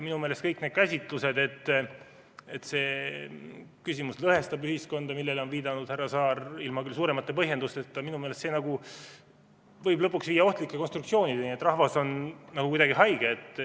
Minu meelest kõik need käsitlused, et see küsimus lõhestab ühiskonda, millele on viidanud härra Saar, küll ilma suuremate põhjendusteta, võivad lõpuks viia ohtlike konstruktsioonideni, et rahvas on nagu kuidagi haige.